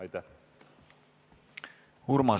Aitäh!